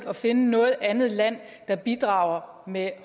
at finde noget andet land der bidrager med